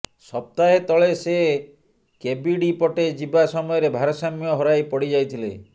ସପ୍ତାହେ ତଳେ ସେ କେବିଡି ପଟେ ଯିବା ସମୟରେ ଭାରସାମ୍ୟ ହରାଇ ପଡି ଯାଇଥିଲେ